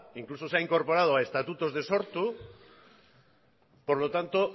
incluso se ha incorporado a estatutos de sortu por lo tanto